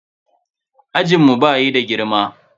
Ajinmu bayi da girma.